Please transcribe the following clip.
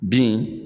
Bin